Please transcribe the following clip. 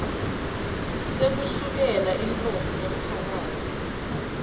sekusukela intfombi yemphakatsi